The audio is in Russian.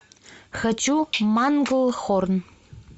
хочу манглхорн